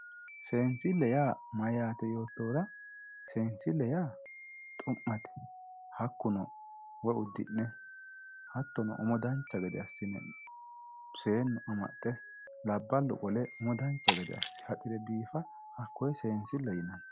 Seensile yaa mayate yoottohura ,seensile yaa xu'mate hakkuno woyi uddi'ne hattono umo dancha gede assine seenu amaxe labbalu qole dancha gede asse haxire biifano, hakkone seensileho yinnanni.